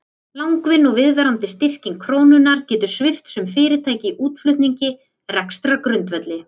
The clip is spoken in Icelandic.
Langvinn og viðvarandi styrking krónunnar getur svipt sum fyrirtæki í útflutningi rekstrargrundvelli.